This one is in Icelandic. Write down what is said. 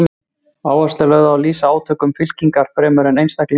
Áhersla er lögð á að lýsa átökum fylkinga fremur en einstaklingum.